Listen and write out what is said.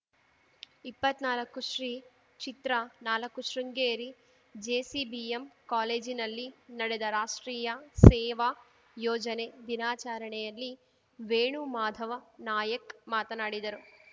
ಇಪ್ಪತ್ನಾಲ್ಕುಶ್ರೀಚಿತ್ರನಾಲ್ಕು Sringeri JCBM ಕಾಲೇಜಿನಲ್ಲಿ ನಡೆದ ರಾಷ್ಟ್ರೀಯ ಸೇವಾ ಯೋಜನೆ ದಿನಾಚರಣೆಯಲ್ಲಿ ವೇಣು ಮಾಧವ ನಾಯಕ್‌ ಮಾತನಾಡಿದರು